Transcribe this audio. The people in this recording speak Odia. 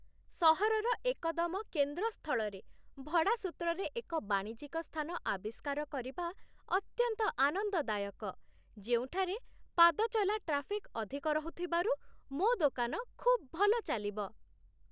ସହରର ଏକଦମ କେନ୍ଦ୍ରସ୍ଥଳରେ ଭଡ଼ା ସୂତ୍ରରେ ଏକ ବାଣିଜ୍ୟିକ ସ୍ଥାନ ଆବିଷ୍କାର କରିବା ଅତ୍ୟନ୍ତ ଆନନ୍ଦଦାୟକ, ଯେଉଁଠାରେ ପାଦଚଲା ଟ୍ରାଫିକ୍ ଅଧିକ ରହୁଥିବାରୁ ମୋ ଦୋକାନ ଖୁବ୍ ଭଲଚାଲିବ।